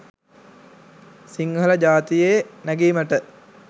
සිංහල ජාතීයේ නැගීමට